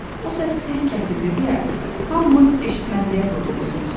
O səs tez kəsildi deyə hamımız eşitməzliyə vurduq özümüzü.